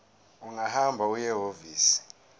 ungahamba uye ehhovisi